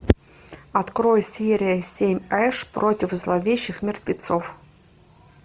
открой серия семь эш против зловещих мертвецов